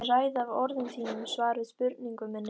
Ég ræð af orðum þínum svar við spurningu minni.